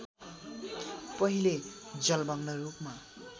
पहिले जलमग्न रूपमा